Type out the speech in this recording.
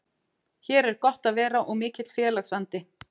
Hér er gott að vera og mikill félagsandi.